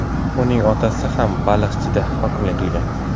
Uning otasi ham Baliqchida hokimlik qilgan.